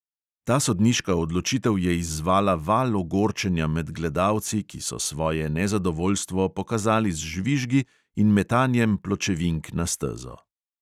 Ta sodniška odločitev je izzvala val ogorčenja med gledalci, ki so svoje nezadovoljstvo pokazali z žvižgi in metanjem pločevink na stezo.